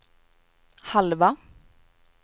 halva